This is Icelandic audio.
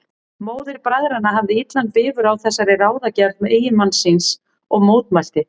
Móðir bræðranna hafði illan bifur á þessari ráðagerð eiginmanns síns og mótmælti.